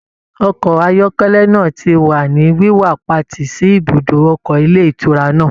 Ọkọ ayọkẹlẹ náà ti wa ni wiwapati sí ibùdó ọkọ ilé ìtura náà.